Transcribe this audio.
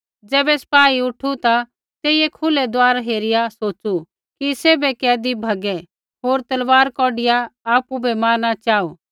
ज़ैबै सिपाही उठु ता तेइयै खुलै दुआर हेरिया सोच़ू कि सैभै कैदी भैगै होर तलवार कौढिआ आपु बै मारना चाहू